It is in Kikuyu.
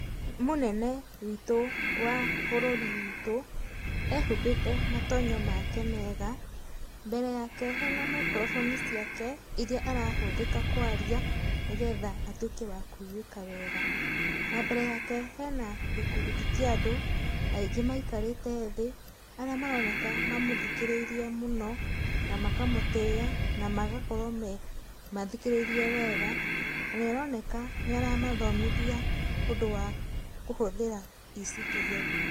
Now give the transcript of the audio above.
Nĩ mũnene witũ wa bũrũri witũ, ĩhumbĩte matonyo make mega, mbere yake hena microphoni ciake, iria arahũthĩka kwaria nĩgetha atuĩke wa kũigwĩka wega. Na mbere yake hena gĩkundi kĩa andũ, aingĩ maikarĩte thĩ, arĩa maroneka mamũthikĩrĩirie mũno, na makamũtĩa, na magakorwo mathikĩrĩirie wega, na nĩ aroneka nĩ aramathomithia ũndũ wa kũhũthĩra E-citizen.